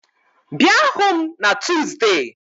Bịa hụ m na Tuzdee